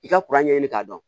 I ka ɲɛɲini k'a dɔn